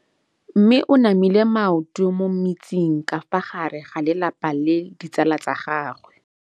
Mme o namile maoto mo mmetseng ka fa gare ga lelapa le ditsala tsa gagwe.